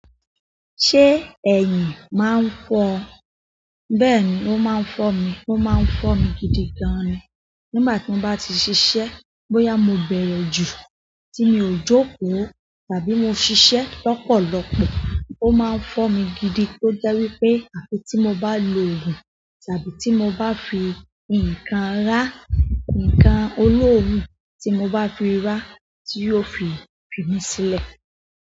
Ṣé ẹ̀yìn máa ń fọ ọ? Bẹ́ẹ̀ni, ó máa ń fọ mi. Ó máa ń fọ mi gidi gan ni. Nígbà tí mo bá ti ṣiṣẹ́, bóyá mo bẹrẹ ju tí mi ò jókòó tàbí mo ṣiṣẹ́ lọ́pọ̀lọpọ̀, ó máa ń fọ mi gidi. Ó jẹ́ wípé àfi tí mo bá lo òògùn tàbí tí mo bá fi ǹkan rá, ǹkan olóorun tí mo bá fi rà tí yóò fi fimí sílẹ̀.